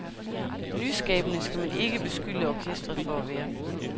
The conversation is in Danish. Nyskabende skal man ikke beskylde orkestret for at være.